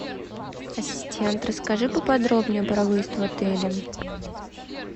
ассистент расскажи поподробнее про выезд в отеле